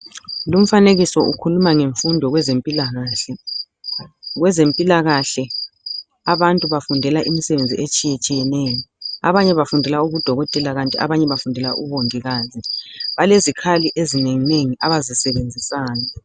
Lumfanekiso ukhuluma ngemfundo kwezempilakahle. Kwezempilakahle abantu bafundela imisebenzi etshiyetshiyeneyo abanye bafundela ubudokotela kanti abanye bafundela ubongikazi. Balezikhali ezinenginengi abazisebenzisayo.